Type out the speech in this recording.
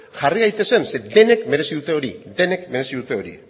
jarri gaitezen zeren denek merezi dute hori denek merezi dute